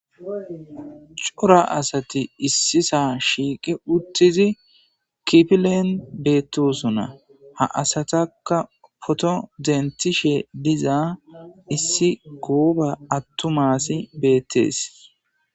cora asati issisa shiiqe uttidi kifillen beettossona ha asatakka potto denththishshe diza issi gooba attumma assi bettees